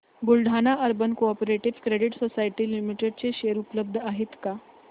Buldhana urban cooperative credit society limited चे share उपलब्ध आहेत का